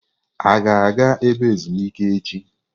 A ga-aga ebe ezumike echi?